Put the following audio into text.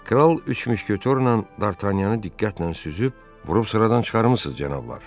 Kral üç müşketorla Dartanyanı diqqətlə süzüb: "Vurub sıradan çıxarmısınız, cənablar!"